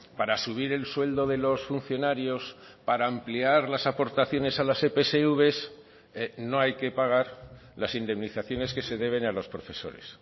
para subir el sueldo de los funcionarios para ampliar las aportaciones a las epsv no hay que pagar las indemnizaciones que se deben a los profesores